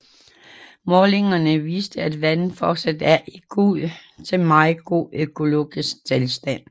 Målingerne viste at vandet fortsat er i god til meget god økologisk tilstand